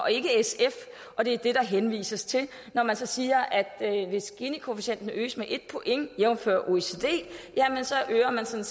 ikke sf og det er det der henvises til når man så siger at hvis ginikoefficienten øges med et point jævnfør oecd så øger man sådan